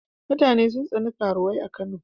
Mutane sun tsani karuwai a Kano.